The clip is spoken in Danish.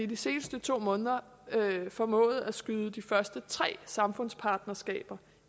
de seneste to måneder formået at skyde de første tre samfundspartnerskaber